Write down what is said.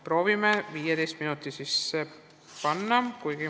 Proovin 15 minuti sisse ära mahtuda.